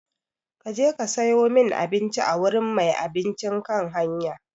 Ka je ka sayo min abinci a wurin mai abincin kan hanya!